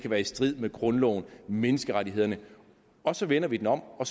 være i strid med grundloven og menneskerettighederne og så vender vi den om og